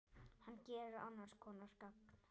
Hann gerir annars konar gagn.